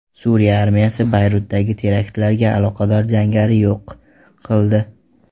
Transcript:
Suriya armiyasi Bayrutdagi teraktlarga aloqador jangarini yo‘q qildi.